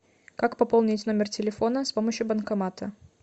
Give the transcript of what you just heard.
как пополнить номер телефона с помощью банкомата